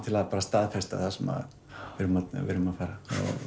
til að staðfesta það sem við erum að fara